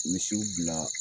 Misiw bila